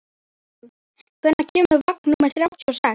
Hannibal, hvenær kemur vagn númer þrjátíu og sex?